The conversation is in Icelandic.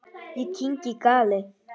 Ég kyngi galli.